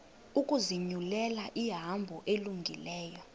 ukuzinyulela ihambo elungileyo